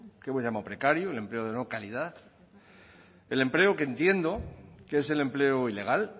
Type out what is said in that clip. que hemos llamado precario el empleo de no calidad el empleo que entiendo que es el empleo ilegal